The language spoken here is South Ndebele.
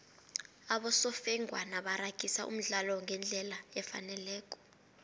abosofengwana baragisa umdlalo ngendlela efaneleko